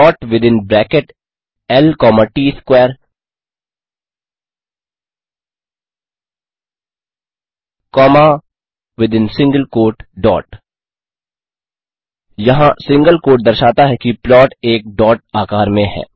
plot within bracket L comma T S square comma within single quote dot यहाँ single quote दर्शाता है कि plot एक डॉट आकार में है